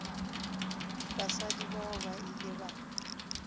basadi bao ba ile ba